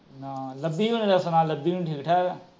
ਨਾ, ਲੱਭੀ ਹੋਣਾ ਦਾ ਸੁਣਾ ਲੱਭੀ ਹੋਣੀ ਠੀਕ ਠਾਕ ਏ